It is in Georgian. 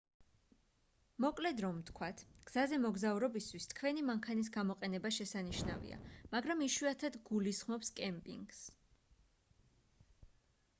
მოკლედ რომ ვთქვათ გზაზე მოგზაურობისთვის თქვენი მანქანის გამოყენება შესანიშნავია მაგრამ იშვიათად გულისხმობს კემპინგს